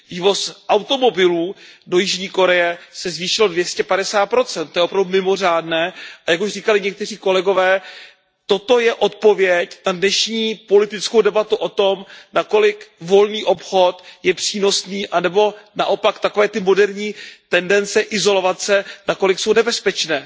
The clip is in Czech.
Vývoz automobilů do Jižní Koreje se zvýšil o 250 To je opravdu mimořádné a jak už říkali někteří kolegové, toto je odpověď na dnešní politickou debatu o tom, nakolik volný obchod je přínosný anebo naopak takové moderní tendence izolovat se, nakolik jsou nebezpečné.